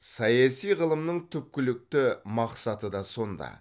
саяси ғылымның түпкілікті мақсаты да сонда